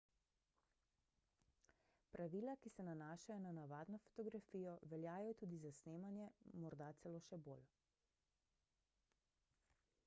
pravila ki se nanašajo na navadno fotografijo veljajo tudi za snemanje morda celo še bolj